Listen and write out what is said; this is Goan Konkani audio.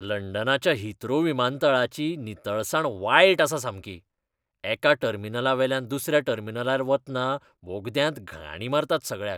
लंडनाच्या हिथ्रो विमानतळाची नितळसाण वायट आसा सामकी. एका टर्मिनलावेल्यान दुसऱ्या टर्मिनलार वतना बोगद्यांत घाणी मारतात सगळ्याक.